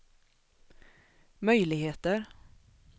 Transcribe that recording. möjligheter